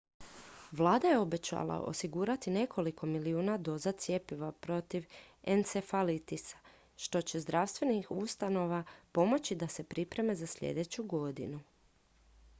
vlada je obećala osigurati nekoliko milijuna doza cjepiva protiv encefalitisa što će zdravstvenih ustanova pomoći da se pripreme za sljedeću godinu